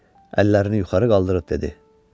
Əllərini yuxarı qaldırıb dedi: